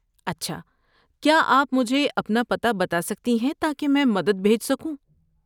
اچھا، کیا آپ مجھے اپنا پتہ بتا سکتی ہیں تاکہ میں مدد بھیج سکوں؟